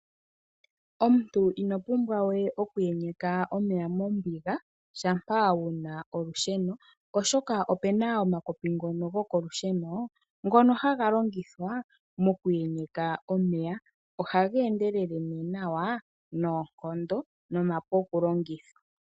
Omuntu ino pumbwa we oku enyeka omeya mombiga shampa wuna olusheno, oshoka opena omakopi ngono gokolusheno ngono haga longithwa moku enyeka omeya, ohaga endelele ne nawa noonkondo nomapu okulongithwa.